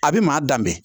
A bɛ maa danbe